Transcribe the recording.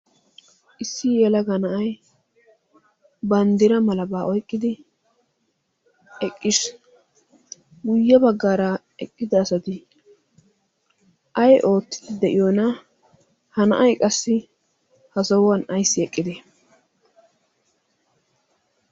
issi yelaga na'ay banddira malabaa oyqqidi eqqisi guyye baggaara eqqida asati ay oottidi de'iyoona? ha na'ay qassi ha sahuwan ayssi eqqide?